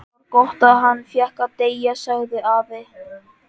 Það var gott að hann fékk að deyja sagði afi.